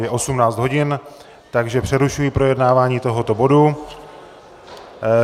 Je 18 hodin, takže přerušuji projednávání tohoto bodu.